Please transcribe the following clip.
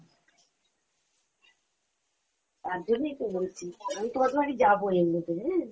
হম হম, তার জন্যেই তো বলছি, আমি তোমাদের বাড়ি যাবো এর মধ্যে হ্যাঁ?